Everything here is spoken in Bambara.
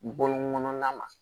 Bɔlɔn kɔnɔna na